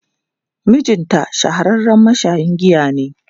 Mijinta shahararren mashayin giya ne.